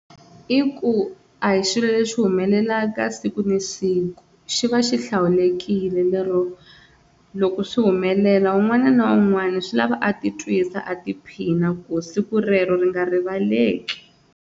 I ku a hi xilo lexi humelelaka siku na siku xi va xi hlawulekile lero loko swi humelela un'wana na un'wana swi lava a titwisa a tiphina ku siku rero ri nga rivaleki.